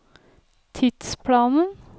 tidsplanen